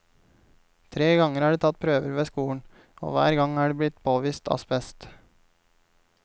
Tre ganger er det tatt prøver ved skolen, og hver gang er det påvist asbest.